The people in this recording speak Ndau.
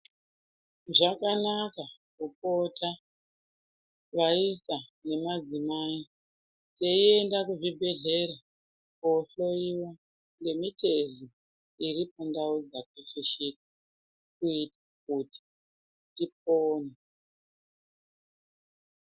Zvakanaka kupota vaisa nemadzimai teienda kuzvibhehlera koohloyiwa ngemitezo iri pandau dzakafushika uye kuti tipone.